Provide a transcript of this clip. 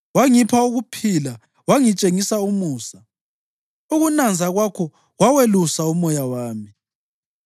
Wangipha ukuphila wangitshengisa umusa, ukunanza kwakho kwawelusa umoya wami.